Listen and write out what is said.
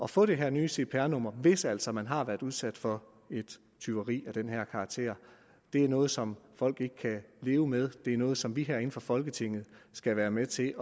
få det her nye cpr nummer hvis altså man har været udsat for et tyveri af den her karakter det er noget som folk ikke kan leve med det er noget som vi herinde i folketinget skal være med til